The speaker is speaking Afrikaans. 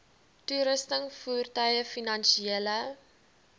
toerusting voertuie finansiële